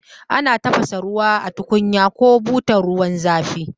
Ana tafasa ruwa a tukunyar ko butar ruwan zafi